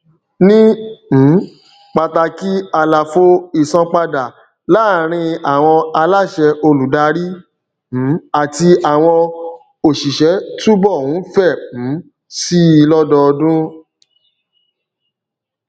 ni um pàtàkì àlàfo ìsanpadà láàrín àwọn aláṣẹ olùdarí um àti àwọn òṣìṣẹ túbọ ń fẹ um síi lódọọdún